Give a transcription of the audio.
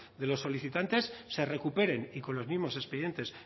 de los solicitantes se recuperen y con los mismos expedientes